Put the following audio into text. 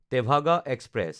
Tebhaga express